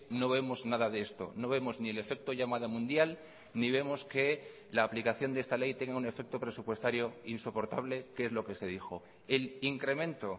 no vemos nada de esto no vemos ni el efecto llamada mundial ni vemos que la aplicación de esta ley tenga un efecto presupuestario insoportable que es lo que se dijo el incremento